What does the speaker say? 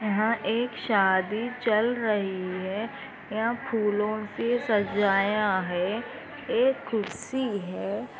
एक शादी चल रही है यहाँ फूलों से सजाया है एक कुर्सी है।